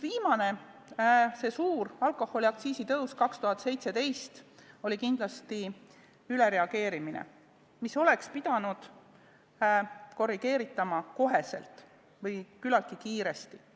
Viimane suur alkoholiaktsiisi tõus 2017. aastal oli kindlasti ülereageerimine, mida oleks pidanud korrigeerima kas kohe või küllaltki kiiresti.